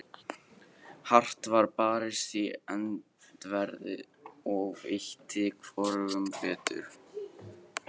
Hart var barist í öndverðu, og veitti hvorugum betur.